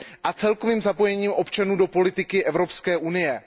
a celkovým zapojením občanů do politiky Evropské unie.